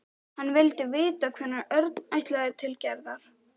Hann vildi vita hvenær Örn ætlaði til Gerðar.